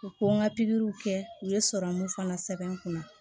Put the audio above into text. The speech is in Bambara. U ko n ka pikiriw kɛ u ye sɔrɔmu fana sɛbɛn n kun na